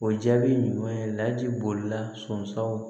O jaabi ɲuman ye laji bolila sɔnsɔnw